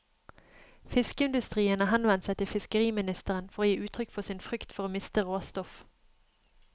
Fiskeindustrien har henvendt seg til fiskeriministeren for å gi uttrykk for sin frykt for å miste råstoff.